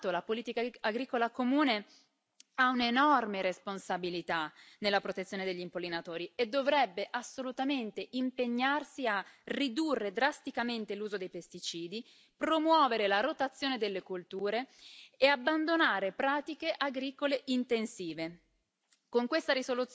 La PAC, è stato ricordato, la politica agricola comune ha un'enorme responsabilità nella protezione degli impollinatori e dovrebbe assolutamente impegnarsi a ridurre drasticamente l'uso dei pesticidi, promuovere la rotazione delle colture e abbandonare pratiche agricole intensive.